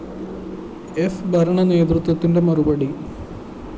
ഫ്‌ ഭരണ നേതൃത്വത്തിന്റെ മറുപടി